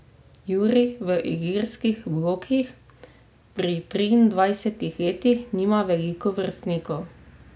Jurij v Ilirskih blokih pri triindvajsetih letih nima veliko vrstnikov.